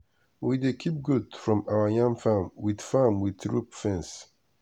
we dey keep goat from our yam farm with farm with rope fence.